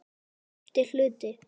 FIMMTI HLUTI